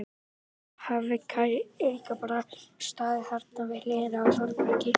Þá hafi Kaj líka bara staðið þarna við hliðina á Þórbergi.